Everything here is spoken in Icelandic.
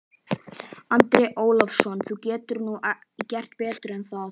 Andri Ólafsson: Þú getur nú gert betur en það?